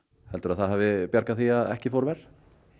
heldurðu að það hafi bjargað því að ekki fór verr